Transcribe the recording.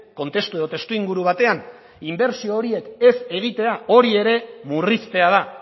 kontestu edo testuinguru batean inbertsio horiek ez egitea hori ere murriztea da